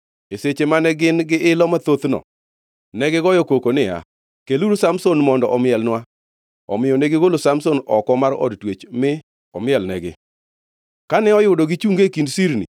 E seche mane gin-gi ilo mathothno, negigoyo koko niya, “Keluru Samson mondo omielnwa.” Omiyo negigolo Samson oko mar od twech, mi omielnegi. Kane oyudo gichunge e kind sirni,